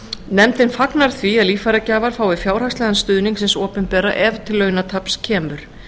nefndin fagnar því að líffæragjafar fái fjárhagslegan stuðning hins opinbera ef til launataps kemur